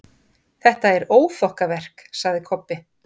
Þetta er óþokkaverk, sagði Kobbi.